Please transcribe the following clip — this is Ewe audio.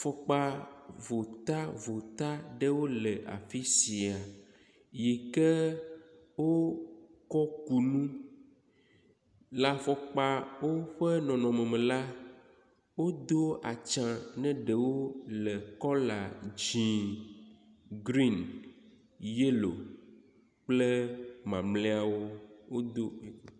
Fɔkpa votavota ɖewo le afi sia yike wokɔ ku nu. Le afɔkpa ƒe nɔnɔme me la, wodo atsia ne ɖewo le kɔla dzɛ̃, grin, yelo kple mamlɛawo wodo…